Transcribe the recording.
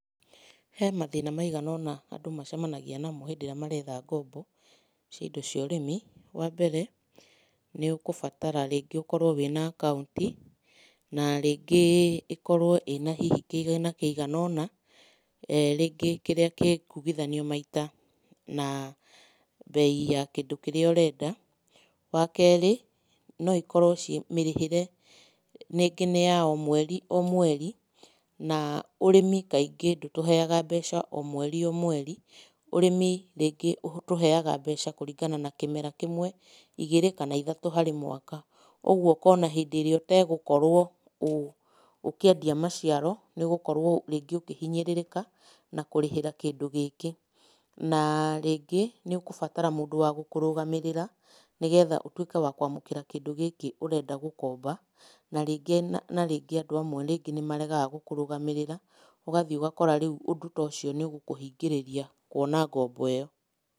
He mathĩna maigana ũna andũ macemanagĩa namo hĩndĩ ĩrĩa maretha ngombo, cia indo cĩa ũrĩmi, wa mbere, nĩ ũgũbatara rĩngĩ ũkorwo na akaunti, na rĩngĩ ĩkorwo ĩna hihi kĩgĩna kĩigana ũna, ee rĩngĩ kĩrĩa kĩkugithanio maita na mbei ya kĩndũ kĩrĩa ũrenda, wakerĩ, no ikorwo mĩrĩhĩre rĩngĩ nĩ ya o mweri, o mweri, na ũrĩmi kaingĩ ndũtũheyaga mbeca o mweri, o mweri, ũrĩmi rĩngĩ ũtũheyaga mbeca kũringana na kĩmera kĩmwe, igĩrĩ kana ithatũ harĩ mwaka, ũgũo ũkona hĩndĩ ĩrĩa ũtegũkorwo ũ ũkĩendia maciaro, nĩ ũgukorwo rĩngĩ ũkĩhinyĩrĩrĩka, na kũrĩhĩra kĩndũ gĩkĩ, na rĩngĩ, nĩ ũkũbatara mũndũ wa gũkũrũgamĩrĩra nĩgetha ũtwĩke wa kwamũkĩra kĩndũ gĩkĩ ũrenda gũkomba, na rĩngĩ na rĩngĩ andũ amwe rĩngĩ nĩ maregaga gũkũrũgamĩrĩra, ũgathiĩ ũgakora rĩu ũndũ ta ũcio nĩ ũgũkũhingĩrĩria kwona ngombo ĩyo.